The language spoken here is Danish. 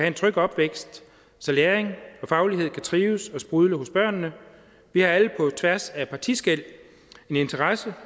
en tryg opvækst så læring og faglighed kan trives og sprudle hos børnene vi har alle på tværs af partiskel en interesse